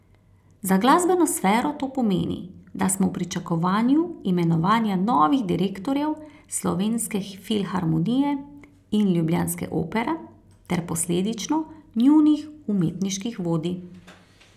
Za glasbeno sfero to pomeni, da smo v pričakovanju imenovanja novih direktorjev Slovenske filharmonije in ljubljanske Opere ter posledično njunih umetniških vodij.